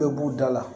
Bɛɛ b'u dala